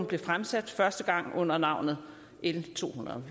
blev fremsat første gang under navnet l tohundredete